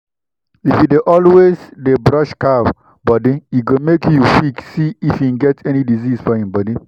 if you dey always dey brush cow body e go make you quick see if e get any disease for e body